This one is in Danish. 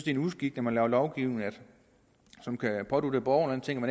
en uskik når man laver lovgivning som kan pådutte borgerne en ting